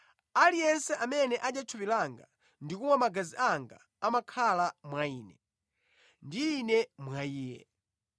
Aliyense amene adya thupi langa ndi kumwa magazi anga amakhala mwa Ine, ndi Ine mwa iye.